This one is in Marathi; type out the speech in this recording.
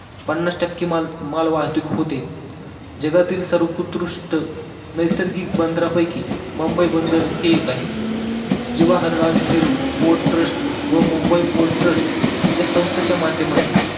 पन्नास टक्के माल, माल वाहतूक होती जगातील सर्वोकृष्ट नैसर्गिक बंदरांपैकी मुंबई बंदर एक आहे जवाहरलाल नेहरू port trust व मुंबई port trust या संस्थेच्या माध्यमातून